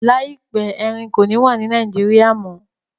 Laipẹ̀, Ẹrìn kò ní wà ní Nàìjíríà mọ.